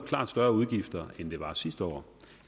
klart større udgifter end det var sidste år